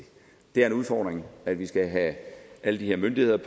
det er en udfordring at vi skal have alle de her myndigheder